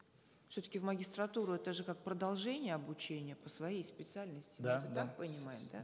все таки в магистратуру это же как продолжение обучения по своей специальности да так понимаю да